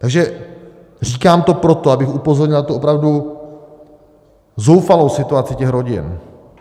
Takže říkám to proto, abych upozornil na tu opravdu zoufalou situaci těch rodin.